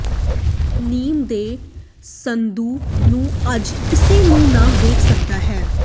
ਨੇਮ ਦੇ ਸੰਦੂਕ ਨੂੰ ਅੱਜ ਕਿਸੇ ਨੂੰ ਨਾ ਵੇਖ ਸਕਦਾ ਹੈ